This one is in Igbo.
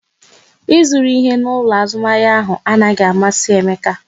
Ị zụru ihe n'ụlọ azụmahịa ahụ anaghị amasị Emeka